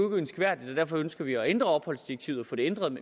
ønskværdigt og derfor ønsker vi at ændre opholdsdirektivet